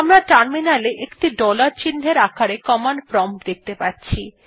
আমরা টার্মিনালে একটি ডলার চিন্হের আকারে কমান্ড প্রম্পট দেখতে পাচ্ছি